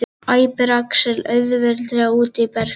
æpir Axel, auðheyrilega úti á berangri.